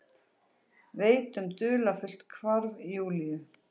Veit um dularfullt hvarf Júlíu.